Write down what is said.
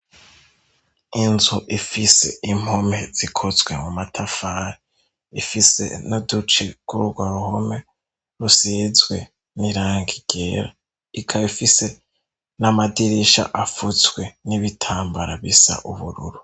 Inzu ifise impumpe zikotswe mu matafari ifise nuduci kurwa home rusizwe n'irangigera ikabifise n'amadirisha afuzwe n'ibitambara bisa ubururu.